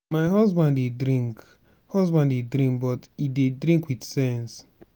my husband dey drink husband dey drink but he dey drink with sense